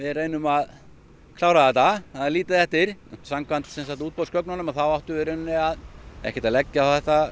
reyna að klára þetta það er lítið eftir samkvæmt útboðsgögnunum átti við rauninni að ekkert að leggja á